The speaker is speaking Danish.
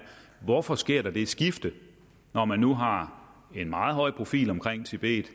hvorfor der sker det skifte når man nu har en meget høj profil omkring tibet